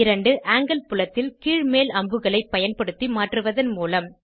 இரண்டு ஆங்கில் புலத்தில் கீழ்மேல் அம்புகளை பயன்படுத்தி மாற்றுவதன் மூலம்